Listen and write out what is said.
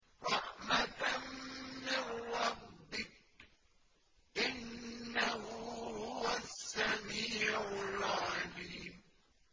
رَحْمَةً مِّن رَّبِّكَ ۚ إِنَّهُ هُوَ السَّمِيعُ الْعَلِيمُ